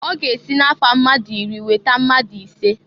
Ọ ga-esi na-afa mmadụ iri weta mmadụ ise.